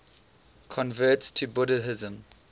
converts to buddhism